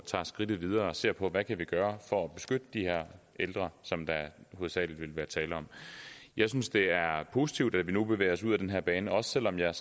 tager skridtet videre og ser på hvad vi kan gøre for at beskytte de her ældre som der hovedsagelig vil være tale om jeg synes det er positivt at vi nu bevæger os ud ad den her bane også selv om jeg